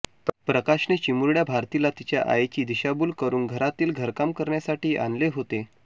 प्रकाशने चिमुरड्या भारतीला तीच्या आईची दिशाभुल करुन घरातील घरकाम करण्यासाठी आणले होते